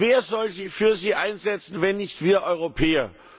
Wer soll sich für sie einsetzen, wenn nicht wir Europäer?